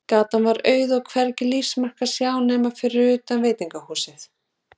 Gatan var auð, og hvergi lífsmark að sjá nema fyrir utan veitingahúsið.